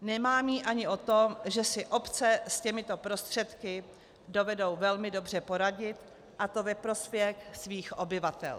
Nemám ji ani o tom, že si obce s těmito prostředky dovedou velmi dobře poradit, a to ve prospěch svých obyvatel.